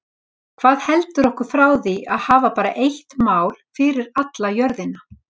Hvað heldur okkur frá því að hafa bara eitt mál fyrir alla jörðina?